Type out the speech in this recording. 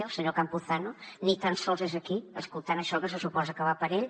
el senyor campuzano ni tan sols és aquí escoltant això que se suposa que va per ell